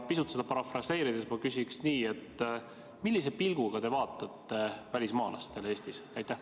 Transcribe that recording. Pisut seda parafraseerides ma küsin nii: millise pilguga te vaatate välismaalastele Eestis?